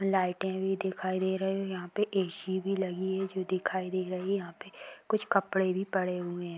लाइटें भी दिखाई दे रही है यहाँ पे ए.सी. भी लगी है जो दिखाई दे रही है यहाँ पे कुछ कपड़े भी पड़े हुए है।